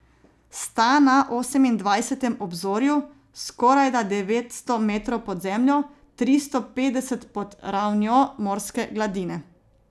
Sta na osemindvajsetem obzorju, skorajda devetsto metrov pod zemljo, tristo petdeset pod ravnjo morske gladine.